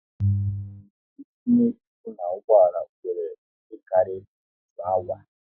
E tinye ibu na ụgbọala wéré ihe karịrị otu awa